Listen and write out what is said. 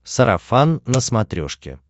сарафан на смотрешке